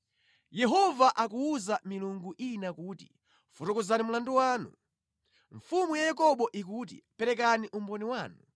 “Yehova akuwuza milungu ina kuti, ‘Fotokozani mlandu wanu.’ Mfumu ya Yakobo ikuti, ‘Perekani umboni wanu.’